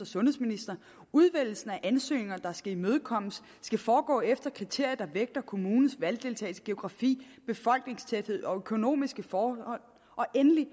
sundhedsministeren og udvælgelsen af ansøgninger der skal imødekommes skal foregå efter kriterier der vægter kommunens valgdeltagelse geografi befolkningstæthed og økonomiske forhold og endelig